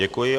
Děkuji.